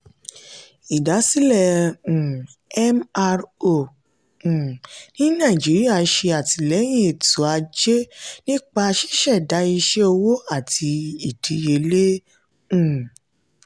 idasile um mro um ni nigeria ṣe atilẹyin eto-aje nipa ṣiṣẹda iṣẹ owo ati idiyele. um